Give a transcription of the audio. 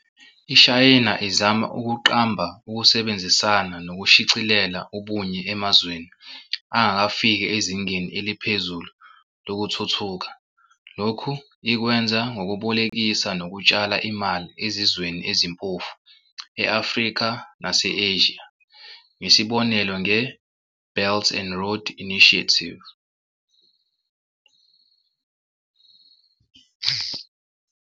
IShayina izama ukuqamba ukusebenzisana nokushicisela ubunye emazweni angakafiki ezingeni eluphezulu lokuthuthuka. Lokhu ikwenza ngobubolekisa nokutshala imali ezizweni ezimpofu e-Afrika nase-Eshiya ngesibonelo nge-"Belt and Road Initiative".